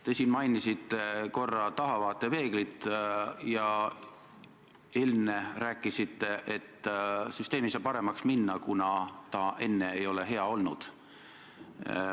Te mainisite siin korra tahavaatepeeglit ja ennist rääkisite, et süsteem ei saa paremaks minna, kuna ta enne ei ole hea olnud.